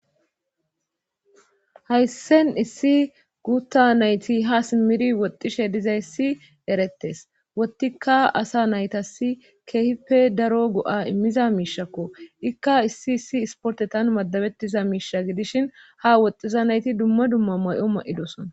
Hayssen issi guutta nayti ha simmiri woxxishe dizayssi eretes wottikka asa naytasi keehippe daro go7a immiza miishakko ikka issi issi isportetan madabettiza miisha gidishin ha woxxiza nayti dumma dumma may7o ma7idoson